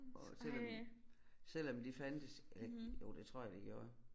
Og selvom selvom de fandtes eller jo det tror jeg de gjorde